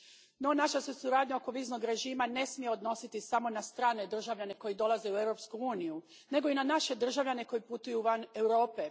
No, naša se suradnja oko viznog režima ne smije odnositi samo na strane državljane koji dolaze u Europsku uniju, nego i na naše državljane koji putuju van Europe.